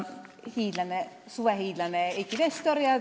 Lugupeetud suvehiidlane Eiki Nestor!